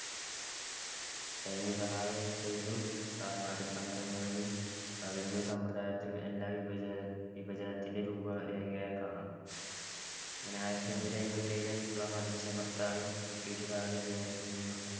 സൈനിക സഹായ വ്യവസ്ഥയിലും കര്‍ണ്ണാട്ടിക് തന്ത്രങ്ങളിലും revenue സമ്പ്രദായത്തിലും എല്ലാം വിഭജന~ വിഭജനത്തിന്‍ടെ രൂപരേഖയെ കാണാം. ആയിരത്തിഎണ്ണൂറ്റിഅമ്പത്തിയേഴിലെ വിപ്ലവം അടിച്ചമർത്താനും ബ്രിട്ടീഷുകാരുടെ നിയ~ നിയ~